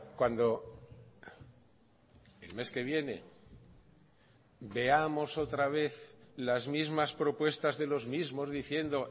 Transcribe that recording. cuando el mes que viene veamos otra vez las mismas propuestas de los mismos diciendo